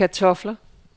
kartofler